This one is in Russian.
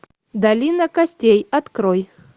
долина костей открой